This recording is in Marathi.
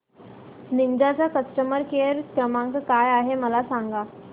निंजा चा कस्टमर केअर क्रमांक काय आहे मला सांगा